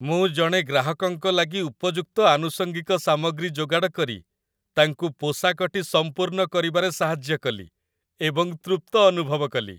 ମୁଁ ଜଣେ ଗ୍ରାହକଙ୍କ ଲାଗି ଉପଯୁକ୍ତ ଆନୁଷଙ୍ଗିକ ସାମଗ୍ରୀ ଯୋଗାଡ଼ କରି ତାଙ୍କୁ ପୋଷାକଟି ସମ୍ପୂର୍ଣ୍ଣ କରିବାରେ ସାହାଯ୍ୟ କଲି, ଏବଂ ତୃପ୍ତ ଅନୁଭବ କଲି।